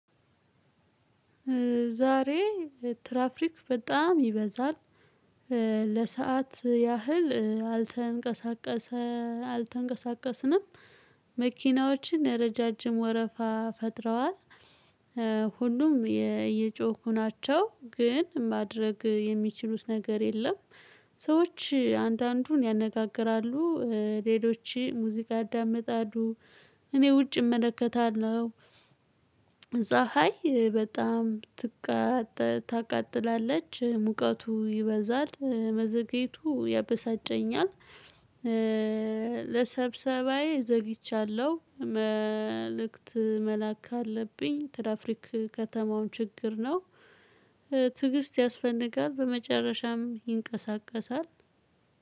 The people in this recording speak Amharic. ዛሬ ትራፊክ በጣም ይበዛል ለሰአት ያህል አልተንቀሳቀስንም መኪናዎችን ረዣዥም ወረፋ ፈጥረዋል። ሁሉም እየጮሁ ናቸው ግን ማድረግ የሚችሉት ነገር የለም። ሰዎች አንዳንዱን ያነጋግራሉ ሌሎች ሙዚቃ ያዳምጣሉ እኔ ውጭ እመለከታለሁ። ፀሀይ በጣም ታቃጥላለች ሙቀቱ ይበዛል መዘገየቱ ያበሳጨኛል። ለሰብሰባዬ ዘግይቻለሁ መልእክት መላክ አለብኝ። ትራፊክ የከተማ ችግር ነው። ትዕግስት ያስፈንጋል በመጨረሻም ይንቀሳቀሳል።